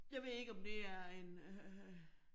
Jeg ved ikke om det er en øh